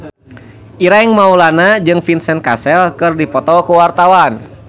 Ireng Maulana jeung Vincent Cassel keur dipoto ku wartawan